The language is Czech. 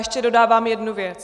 Ještě dodávám jednu věc.